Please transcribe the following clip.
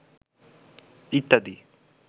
ইত্যাদি